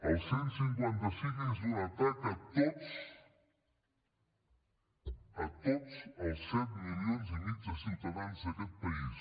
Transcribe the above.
el cent i cinquanta cinc és un atac a tots a tots els set milions i mig de ciutadans d’aquest país